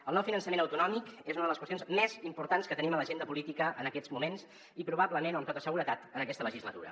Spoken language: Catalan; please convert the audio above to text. el nou finançament autonòmic és una de les qüestions més importants que tenim a l’agenda política en aquests moments i probablement o amb tota seguretat en aquesta legislatura